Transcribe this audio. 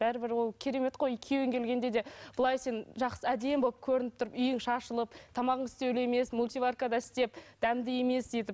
бәрібір ол керемет қой күйеуің келгенде де былай сен әдемі болып көрініп тұрып үйің шашылып тамағың істеулі емес мультиваркада істеп дәмді емес етіп